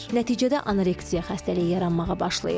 Nəticədə anoreksiya xəstəliyi yaranmağa başlayır.